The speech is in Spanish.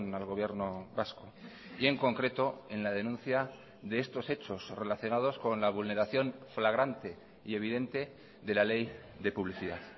al gobierno vasco y en concreto en la denuncia de estos hechos relacionados con la vulneración flagrante y evidente de la ley de publicidad